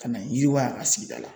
Ka na yiriwa a sigida la